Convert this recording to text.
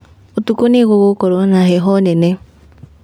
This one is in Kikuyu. Ũtukũ nĩgũgũkorwo na heho nene